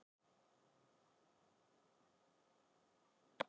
Línu og Jón.